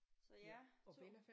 Så ja 2